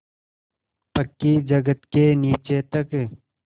पक्की जगत के नीचे तक